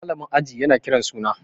malamin aji yana Kiran suna